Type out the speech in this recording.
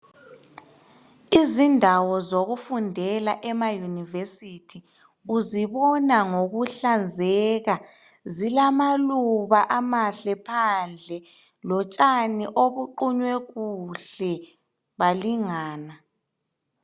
Izindawo zokufundela ema yunivesithi uzibona ngokuhlanzeka. Zilamaluba amahle phandle lotshani obuqunywe kuhle balingana.